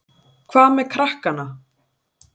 Hvað með krakkana?